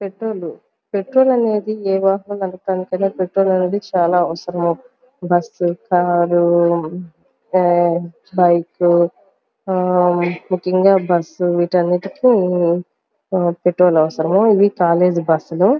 petrol petrol అనేది ఏ వాహనానీకైన పెట్రోల్ అనేది చాలా అవసరం బస్సు కారు బైకు ముఖ్యంగా బస్సు వీటన్నిటికీ పెట్రోల్ అవసరం ఇవి కాలేజీ బస్సులు --